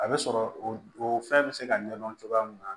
A bɛ sɔrɔ o o fɛn bɛ se ka ɲɛdɔn cogoya min na